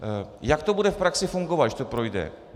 Jak to bude v praxi fungovat, když to projde?